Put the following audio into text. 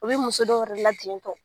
U bɛ muso dɔw yɛrɛ la jintɔ.